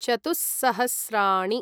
चतुः सहस्राणि